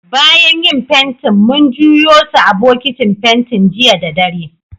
Bayan yin fentin, mun juyo su a'bokitin fentin jiya da dare.